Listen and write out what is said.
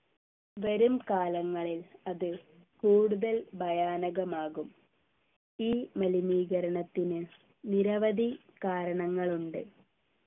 വരുംകാലങ്ങളിൽ അത് കൂടുതൽ ഭയാനകമാകും ഈ മലിനീകരണത്തിന് നിരവധി കാരണങ്ങളുണ്ട്